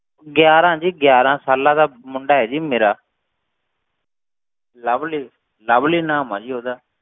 ਗਿਆਰਾਂ ਜੀ ਗਿਆਰਾਂ ਸਾਲਾਂ ਦਾ ਮੁੰਡਾ ਹੈ ਜੀ ਮੇਰਾ ਲਵਲੀ, ਲਵਲੀ ਨਾਮ ਹੈ ਜੀ ਉਹਦਾ।